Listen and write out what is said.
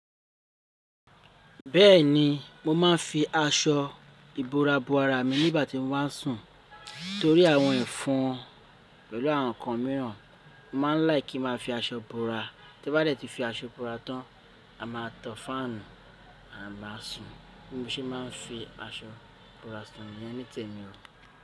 Bẹ́ẹ̀ni mo máa ń fi aṣọ ìbora b'ara mi nígbàtí mo bá sùn. Nítorí àwọn ẹ̀fọn pẹ̀lú àwọn ǹkan míràn mo má ń láì kí n má fi aṣọ b'ara. Tí bá dè ti fi aṣọ b'ara tán, a máa tan fáànù a ma sùn bí mo ṣe máa ń fi aṣọ b'ara sùn nítèmi nìyẹn o.